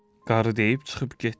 Qarı deyib çıxıb getdi.